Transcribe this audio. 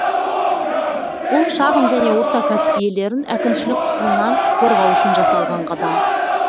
бұл шағын және орта кәсіп иелерін әкімшілік қысымнан қорғау үшін жасалған қадам